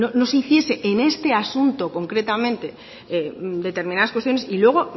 no se hiciese en este asunto concretamente determinadas cuestiones y luego